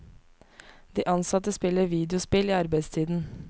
De ansatte spiller videospill i arbeidstiden.